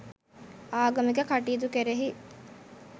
ආගමික කටයුතු කෙරෙහි